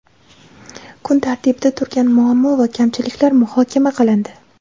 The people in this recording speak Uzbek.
kun tartibida turgan muammo va kamchiliklar muhokama qilindi.